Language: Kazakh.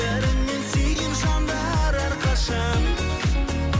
бәрінен сүйген жандар әрқашан